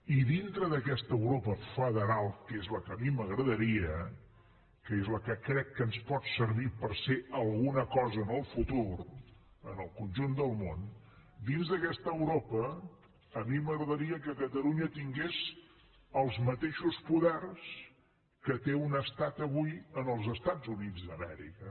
i dintre d’aquesta europa federal que és la que a mi m’agradaria que és la que crec que ens pot servir per ser alguna cosa en el futur en el conjunt del món dins d’aquesta europa a mi m’agradaria que catalunya tingués els mateixos poders que té un estat avui en els estats units d’amèrica